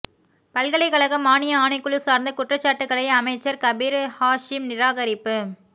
பல்கலைக்கழக மானிய ஆணைக்குழு சார்ந்த குற்றச்சாட்டுக்களை அமைச்சர் கபீர் ஹாஷிம் நிராகரிப்பு